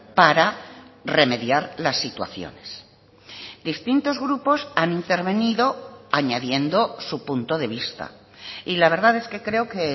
para remediar las situaciones distintos grupos han intervenido añadiendo su punto de vista y la verdad es que creo que